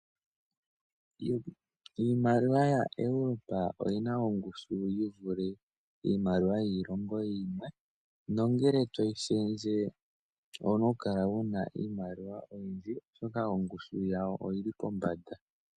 Iimaliwa ya Europa oyina ongushu yivule iimaliwa yiilongo yimwe, nongele toyi shendje owuna oku kala ano wuna iimaliwa oyindji oshoka ongushu yawo oyili pombanda